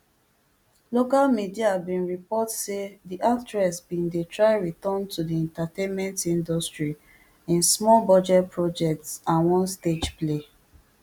local media bin report say di actress bin dey try return to di entertainment industry in smallbudget projects and one stage play